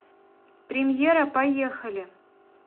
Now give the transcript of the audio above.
премьера поехали